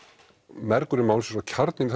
mergur málsins og kjarninn